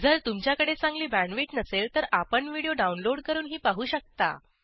जर तुमच्याकडे चांगली बॅण्डविड्थ नसेल तर आपण व्हिडिओ डाउनलोड करूनही पाहू शकता